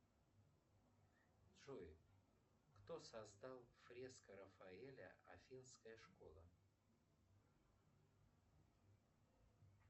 джой кто создал фреска рафаэля афинская школа